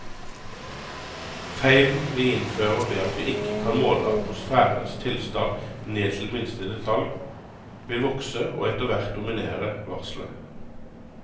Feilen vi innfører ved at vi ikke kan måle atmosfærens tilstand ned til minste detalj, vil vokse og etterhvert dominere varslet.